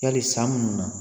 Yali san munnu na